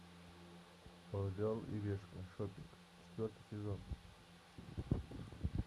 орел и решка шопинг четвертый сезон